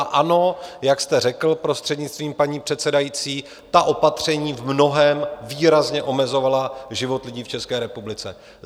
A ano, jak jste řekl, prostřednictvím paní předsedající, ta opatření v mnohém výrazně omezovala život lidí v České republice.